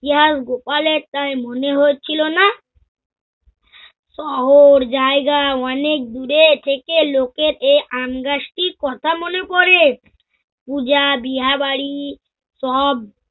ইহা গোপালেরটাই মনে হয়েছিল না? শহর জায়গা অনেক দূরে থেকে লোকের এ আমগাছটির কথা মনে পরে। পুজা, বিহাবাড়ি সব